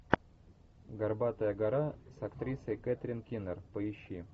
горбатая гора с актрисой кэтрин кинер поищи